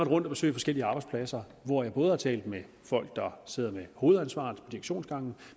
rundt at besøge forskellige arbejdspladser hvor jeg både har talt med folk der sidder med hovedansvaret på direktionsgangene